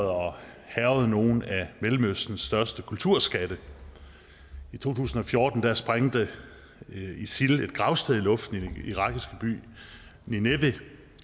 og hærget nogle af mellemøstens største kulturskatte i to tusind og fjorten sprængte isil et gravsted i luften i den irakiske by nineve